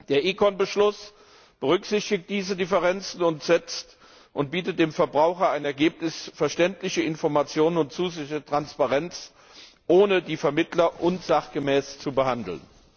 Der ECON Beschluss berücksichtigt diese Differenzen und bietet dem Verbraucher im Ergebnis verständliche Informationen und zusätzliche Transparenz, ohne die Vermittler unsachgemäß zu behandeln.